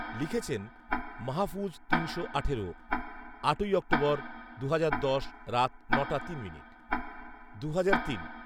লিখেছেন, মাহফুজ তিনশো আঠেরো, আটই অক্টোবর, দু'হাজার দশ, রাত ন'টা তিন মিনিট। দু'হাজার তিন